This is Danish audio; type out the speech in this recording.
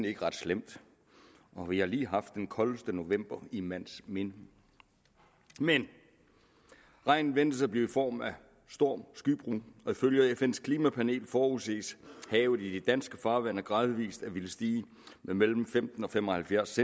ikke ret slemt og vi har lige haft den koldeste november i mands minde men regnen ventes at blive i form af storm og skybrud og ifølge fns klimapanel forudses havet i de danske farvande gradvis at ville stige med mellem femten og fem og halvfjerds